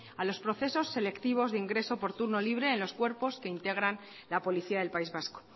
a los procesos selectivos de ingreso por turno libre en los cuerpos que integran la policía del país vasco